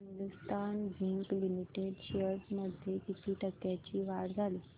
Hindustan zinc limited shares मध्ये किती टक्क्यांची वाढ झाली